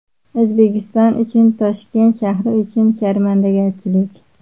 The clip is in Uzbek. O‘zbekiston uchun, Toshkent shahri uchun... Sharmandagarchilik.